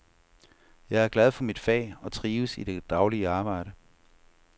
Jeg er glad for mit fag og trives i det daglige arbejde.